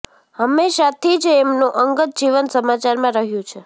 હંમેશાથી જ એમનું અંગત જીવન સમાચારમાં રહ્યું છે